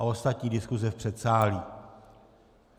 A ostatní diskuse v předsálí.